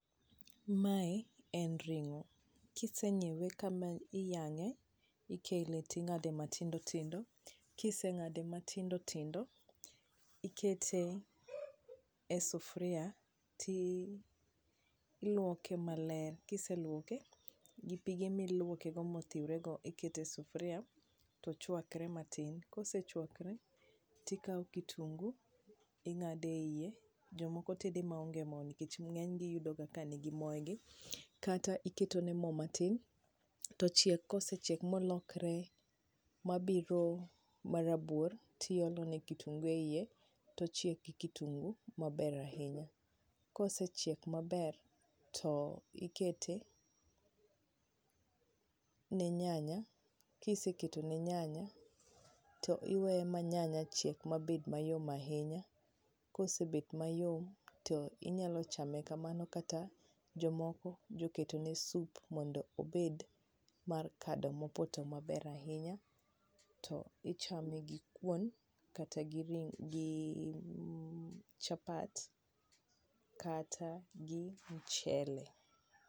Mae en ring'o, kisenyiewe kama iyang'e, tikele ting'ade matindo tindo, kiseng'ade matindo tindo tikete e sufria ti iluoke maler. Kiseluoke gi pige miluoke go mothiure go ikete e sufria to chwakre matin. Kosechwakre, tikao kitungu ting'ade eie, jomoko tede maonge mo nikech ng'enygi iyudo ga ka ni gi moe gi, kata iketo ne mo matin, tochiek. Kosechiek molokre mabiro ma rabuor, tiolone kitungu e ie to ochiek gi kitungu maber ahinya. Kosechiek maber to ikete ne nyanya, kiseketo ne nyanya to iweyo ma nyanya chiek mabed mayom ahinya, kosebet mayom to inyalo chame kamano kata jomoko jo keto ne sup mondo obed mar kado ma opoto maber ahinya. To ichame gi kuon kata gi ring' gi mm chapat kata gi mchele.